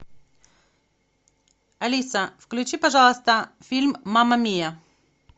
алиса включи пожалуйста фильм мама мия